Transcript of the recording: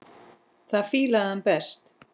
Það fílaði hann best.